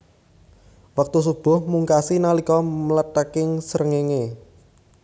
Wektu shubuh mungkasi nalika mlethèking srengéngé